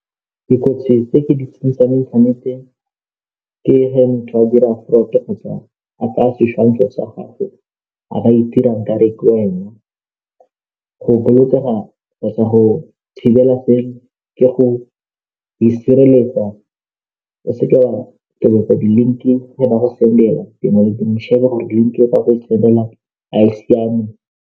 Bogologolo batho ba ne ba tshameka metshamko ya nama, mo founung out mme janong thekenoloji kgotsa di-electronic, o kgona go tshameka fela le ditsala tsa gago, o dutse le shebile mo screen-i, go tshameka ka PS Five, go tshameka metshameko mo ntlung e seng kwa ntle motshameko wa ko ntle.